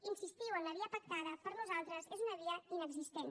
insistiu en la via pactada per nosaltres és una via inexistent